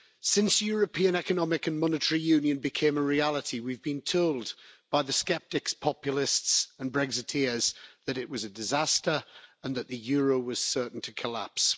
Since European economic and monetary union became a reality, we've been told by the sceptics, populists and Brexiteers that it was a disaster and that the euro was certain to collapse.